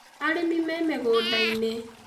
Arĩmi me mũgũnda-inĩ